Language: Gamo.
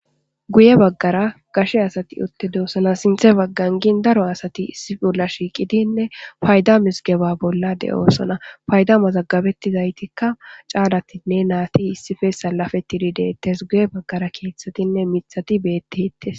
guye baggara gashe asati otte deosana sinthe baggangin daro asati issi bolla shiiqidinne fayda misgeba bolla de7oosana fayda mazaggabettizaytikka caalatinne naati issife salafetidi deettes guye baggara keeththatinne mithati beettehttes